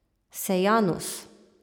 Sejanus.